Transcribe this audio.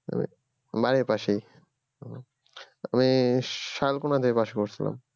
আমি বাড়ির পাশেই আমি সালকোনা দিয়ে পাশে বসলাম